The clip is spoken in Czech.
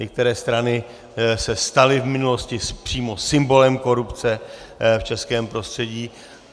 Některé strany se staly v minulosti přímo symbolem korupce v českém prostředí.